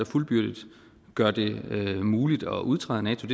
fuldbyrdet gør det det muligt at udtræde af nato